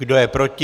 Kdo je proti?